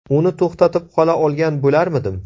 Uni to‘xtatib qola olgan bo‘larmidim?